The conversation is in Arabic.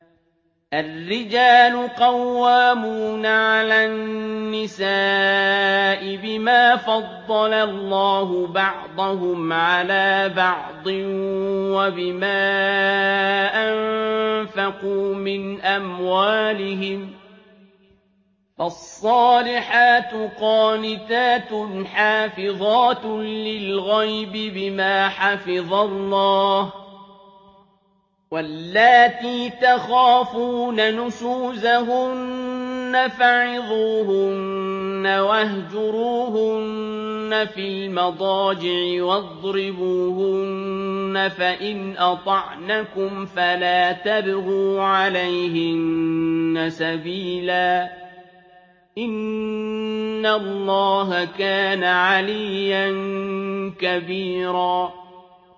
الرِّجَالُ قَوَّامُونَ عَلَى النِّسَاءِ بِمَا فَضَّلَ اللَّهُ بَعْضَهُمْ عَلَىٰ بَعْضٍ وَبِمَا أَنفَقُوا مِنْ أَمْوَالِهِمْ ۚ فَالصَّالِحَاتُ قَانِتَاتٌ حَافِظَاتٌ لِّلْغَيْبِ بِمَا حَفِظَ اللَّهُ ۚ وَاللَّاتِي تَخَافُونَ نُشُوزَهُنَّ فَعِظُوهُنَّ وَاهْجُرُوهُنَّ فِي الْمَضَاجِعِ وَاضْرِبُوهُنَّ ۖ فَإِنْ أَطَعْنَكُمْ فَلَا تَبْغُوا عَلَيْهِنَّ سَبِيلًا ۗ إِنَّ اللَّهَ كَانَ عَلِيًّا كَبِيرًا